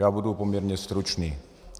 Já budu poměrně stručný.